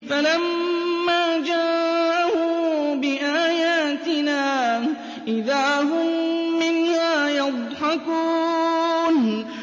فَلَمَّا جَاءَهُم بِآيَاتِنَا إِذَا هُم مِّنْهَا يَضْحَكُونَ